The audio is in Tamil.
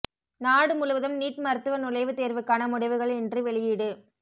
நாடு முழுவதும் நீட் மருத்துவ நுழைவுத் தேர்வுக்கான முடிவுகள் இன்று வெளியீடு